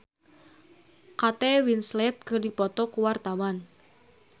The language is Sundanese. Agatha Chelsea jeung Kate Winslet keur dipoto ku wartawan